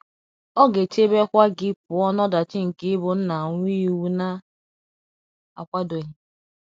Ọ ga - echebekwa gị pụọ n’ọdachi nke ịbụ nna nwa ịwụ na akwadoghi